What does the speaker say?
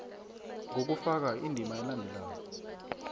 ngokufaka indima elandelako